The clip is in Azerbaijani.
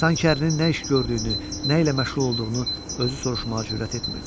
Sanki ərinin nə iş gördüyünü, nə ilə məşğul olduğunu özü soruşmağa cürət etmirdi.